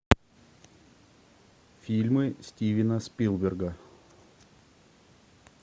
фильмы стивена спилберга